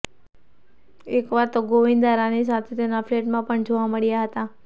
એકવાર તો ગોવિંદા રાની સાથે તેમના ફ્લેટમાં પણ જોવા મળ્યા હતા